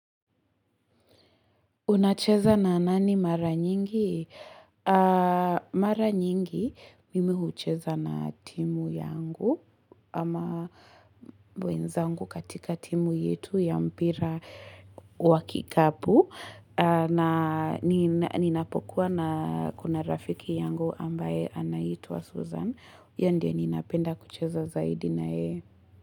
Unacheza na nani mara nyingi? Mara nyingi, mimi hucheza na timu yangu, ama mwenzangu katika timu yetu ya mpira wakikapu. Ninapokuwa na kuna rafiki yangu ambaye anaitwa Susan. Ye ndie ninapenda kucheza zaidi na yeye.